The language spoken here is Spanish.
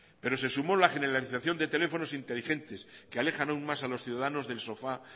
pero se sumó la generalización de teléfonos inteligentes que alejan aún más a los ciudadanos del sofá